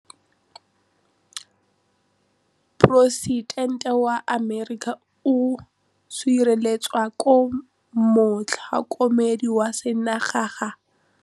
Poresitêntê wa Amerika o sireletswa ke motlhokomedi wa sengaga.